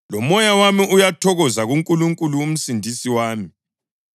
lomoya wami uyathokoza kuNkulunkulu uMsindisi wami,